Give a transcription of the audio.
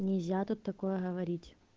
нельзя такое говорить